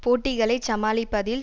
போட்டிகளைச் சமாளிப்பதில்